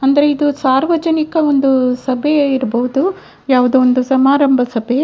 ಅಂದ್ರೆ ಇದು ಸಾರ್ವಜನಿಕ ಒಂದು ಸಭೆ ಇರ್ಬಹುದು ಯಾವುದೋ ಒಂದು ಸಮಾರಂಭ ಸಭೆ.